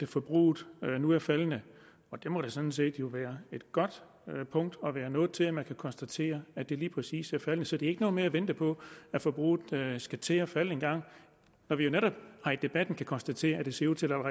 forbruget nu er faldende det må da sådan set være et godt punkt at være nået til nemlig at man kan konstatere at det lige præcis er faldende så der er ikke noget med at vente på at forbruget skal til at falde engang når vi jo netop her i debatten kan konstatere at det ser ud til at